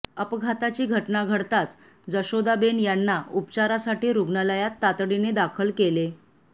अपघाताची घटना घडताच जशोदाबेन यांना उपचारासाठी रुग्णालयात तातडीने दाखल केले